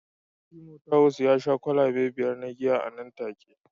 Timothawus ya sha kwalabe biyar na giya nan take